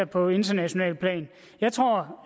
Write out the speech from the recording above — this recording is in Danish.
på internationalt plan jeg tror